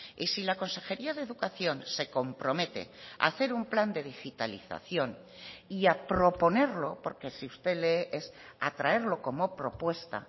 y si la consejería de educación se compromete a hacer un plan de digitalización y a proponerlo porque si usted lee es a traerlo como propuesta